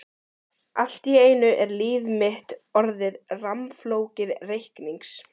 Allt í einu er líf mitt orðið rammflókið reiknings